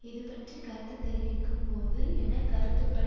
இதுபற்றி கருத்து தெரிவிக்கும்போது என கருத்துப்படி